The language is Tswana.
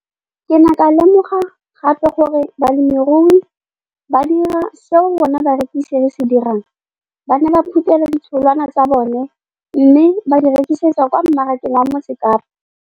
Ke ne ka lemoga gape gore balemirui ba dira seo rona barekisi re se dirang, ba ne ba phuthela ditholwana tsa bona mme ba di rekisa kwa marakeng wa Motsekapa.